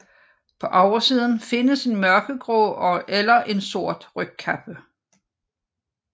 På oversiden findes en mørkegrå eller sort rygkappe